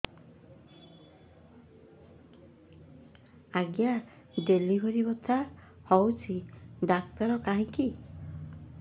ଆଜ୍ଞା ଡେଲିଭରି ବଥା ହଉଚି ଡାକ୍ତର କାହିଁ କି